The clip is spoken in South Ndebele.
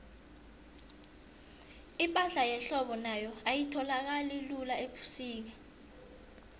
ipahla yehlobo nayo ayitholakali lula ubusika